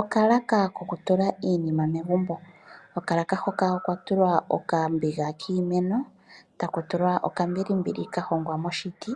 Okalaka kokutula iinima megumbo. Kokalaka hoka okwatulwa okambiga kiimeno, taku tulwa okambilimbili ka hongwa moshiti